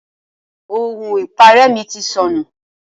Ohun ipare mi ti sọnù.